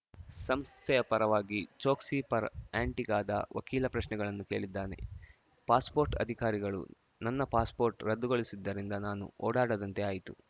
ಸಂಸ್ಥೆಯ ಪರವಾಗಿ ಚೋಕ್ಸಿ ಪರ ಆ್ಯಂಟಿಗಾದ ವಕೀಲ ಪ್ರಶ್ನೆಗಳನ್ನು ಕೇಳಿದ್ದಾನೆ ಪಾಸ್‌ಪೋರ್ಟ್‌ ಅಧಿಕಾರಿಗಳು ನನ್ನ ಪಾಸ್‌ಪೋರ್ಟ್‌ ರದ್ದುಗೊಳಿಸಿದ್ದರಿಂದ ನಾನು ಓಡಾಡದಂತೆ ಆಯಿತು